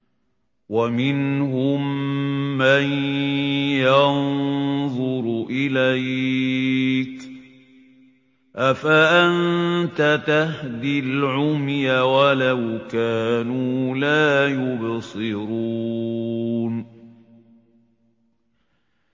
وَمِنْهُم مَّن يَنظُرُ إِلَيْكَ ۚ أَفَأَنتَ تَهْدِي الْعُمْيَ وَلَوْ كَانُوا لَا يُبْصِرُونَ